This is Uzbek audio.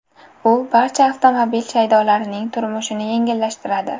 U barcha avtomobil shaydolarining turmushini yengillashtiradi.